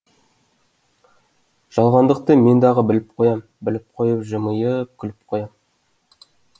жалғандықты мен дағы біліп қоям біліп қойып жымиы ы ып күліп қоям